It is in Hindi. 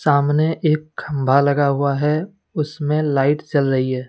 सामने एक खंभा लगा हुआ है उसमें लाइट जल रही है।